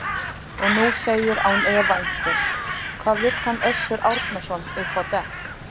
Og nú segir án efa einhver: Hvað vill hann Össur Árnason upp á dekk?